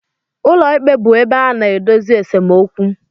Ụlọikpe bụ ebe a na-edozi esemokwu.